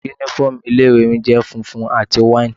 Uniform ilé ìwé mi jẹ́ funfun àti wine.